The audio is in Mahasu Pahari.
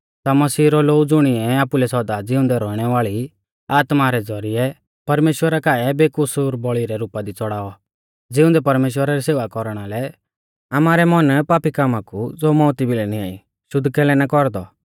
ता मसीह रौ लोऊ ज़ुणिऐ आपुलै सौदा ज़िउंदै रौइणै वाल़ी आत्मा रै ज़ौरिऐ परमेश्‍वरा काऐ बेकसूर बौल़ी रै रुपा दी च़ौड़ाऔ ज़िउंदै परमेश्‍वरा री सेवा कौरना लै आमारै मन पापी कामा कु ज़ो मौउती भिलै निंआई शुद्ध कैलै ना कौरदौ